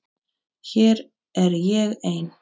Hér er ég ein.